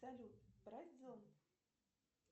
салют брать зонт